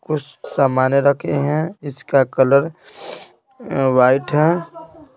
कुछ सामाने रखे हैं इसका कलर वाइट है।